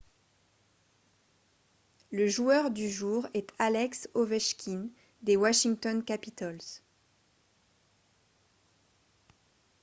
le joueur du jour est alex ovechkin des washington capitals